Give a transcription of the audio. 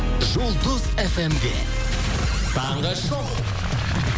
жұлдыз фм де таңғы шоу